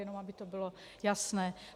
Jenom aby to bylo jasné.